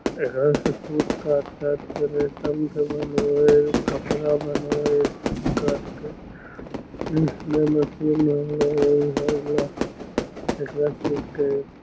एकरा से सूत काट काट के रेशम के बनवे हेय कपड़ा बनवे हेय सूत काट के --